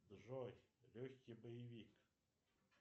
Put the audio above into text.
джой легкий боевик